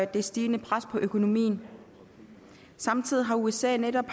det stigende pres på økonomien samtidig har usa netop